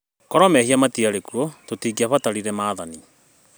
Korwo mehia matiarĩ kuo tũtingĩabatarire maathani